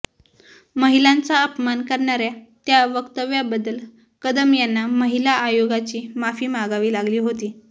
महिलांचा अपमान करणाऱ्या त्या वक्तव्याबद्दल कदम यांना महिला आयोगाची माफी मागावी लागली होती